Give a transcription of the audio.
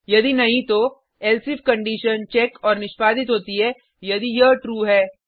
यदि नहीं तो एल्से इफ कंडिशन चेक और निष्पादित होती है यदि यह ट्रू है